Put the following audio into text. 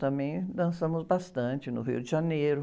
Também dançamos bastante no Rio de Janeiro.